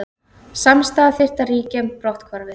Samstaða þyrfti að ríkja um brotthvarfið